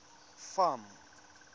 farm